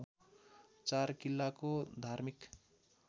चार किल्लाको धार्मिक